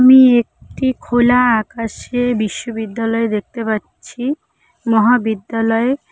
আমি একটি খোলা আকাশে বিশ্ববিদ্যালয় দেখতে পাচ্ছি মহাবিদ্যালয়ে--